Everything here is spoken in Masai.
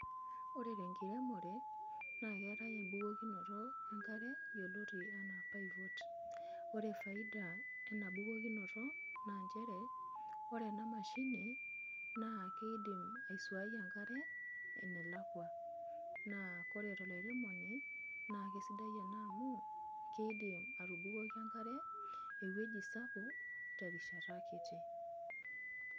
Ore tenkiremore, na keetae ebukokinoto enkare, yioloti enaa pivot. Ore faida ena bukokinoto, naa njere, ore enamashini, naa kiidim aisuai enkare, enelakua. Naa ore tolairemoni, naa kesidai ena amu, kidim atubukoki enkare ewueji sapuk, terishata kiti.